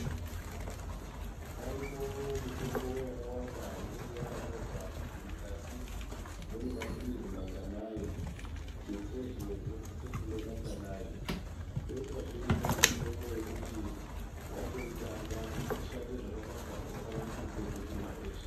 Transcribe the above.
Paripo mitombo yakawanda inenge yakanyorwa kuti mukati mune maphilizi manganai tutsezve unosise kumwa manganai. Kwoitazve imweni mitombo yekuti watoitanga kuti ishande zvakanaka unofana kumwa eshe.